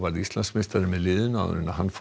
Íslandsmeistari með liðin áður en hann fór í